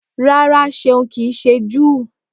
Rárá Ṣeun kìí ṣe Júù